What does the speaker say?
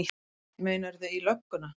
Meinarðu. í lögguna?